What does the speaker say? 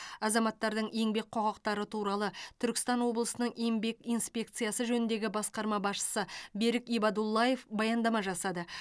азаматтардың еңбек құқықтары туралы түркістан облысының еңбек инспекциясы жөніндегі басқарма басшысы берік ибадуллаев баяндама жасады